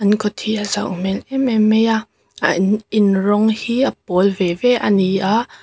an kawt hi a zau hmel em em mai a an in rawng hi a pawl ve ve a ni a--